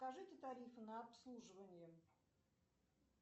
скажите тарифы на обслуживание